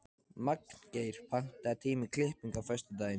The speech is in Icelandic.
Magngeir, pantaðu tíma í klippingu á föstudaginn.